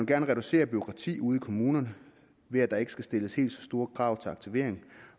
gerne reducere bureaukratiet ude i kommunerne ved at der ikke skal stilles helt så store krav til aktivering